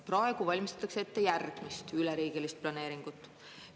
Praegu valmistatakse ette järgmist üleriigilist planeeringut.